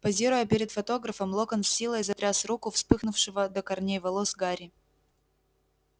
позируя перед фотографом локонс с силой затряс руку вспыхнувшего до корней волос гарри